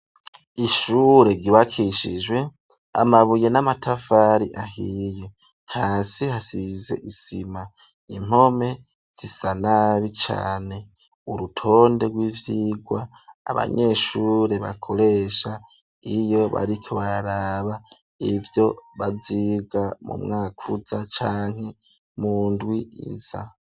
Ishure ryubakishijwe amabuye n'amatafari ahiye. Hasi hasize isima. Impome zisa nabi cane. Urutonde rw'ivyirwa abanyeshure bakoresha iyo bariko bararaba ivyo baziga mu mwaka uza canke mundwi iza.